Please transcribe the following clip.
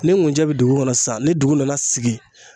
Ni nkunjɛ bi dugu kɔnɔ sisan ni dugu nana sigi